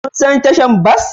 Kun san tashar bas?